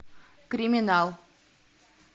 криминал